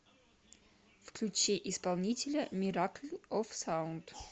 включи исполнителя миракл оф саунд